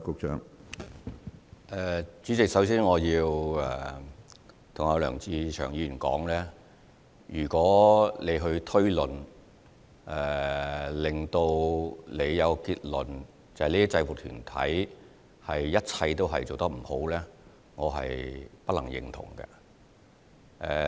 主席，首先，我要對梁志祥議員說，如果他的推論讓他有一個所有制服團體都做得不好的結論，我不能認同。